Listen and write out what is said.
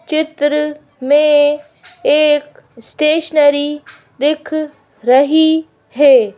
चित्र में एक स्टेशनरी दिख रही है।